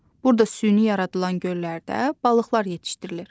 Burda süni yaradılan göllərdə balıqlar yetişdirilir.